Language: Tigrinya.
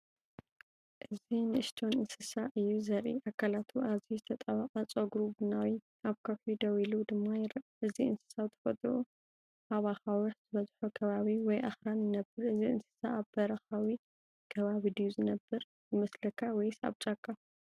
እዚ ንእሽቶን እንስሳ እዩ ዘርኢ። ኣካላቱ ኣዝዩ ዝተጣበቀ፡ ጸጉሩ ቡናዊ፡ ኣብ ከውሒ ደው ኢሉ ድማ ይርአ። እዚ እንስሳ ብተፈጥሮኡ ኣብ ኣኻውሕ ዝበዝሖ ከባቢ ወይ ኣኽራን ይነብር። እዚ እንስሳ ኣብ በረኻዊ ከባቢ ድዩ ዝነብር ይመስለካ ወይስ ኣብ ጫካ?